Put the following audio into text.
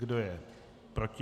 Kdo je proti?